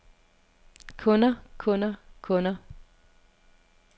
kunder kunder kunder